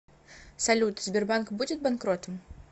салют сбербанк будет банкротом